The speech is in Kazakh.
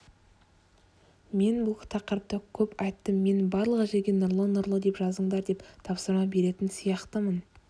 мен бұл тақырыпта көп айттым мен барлық жерге нұрлы нұрлы деп жазыңдар деген тапсырма беретін сияқтымын